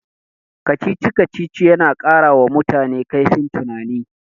Kacici-kacicic yana ƙarawa mutane kaifin tunani.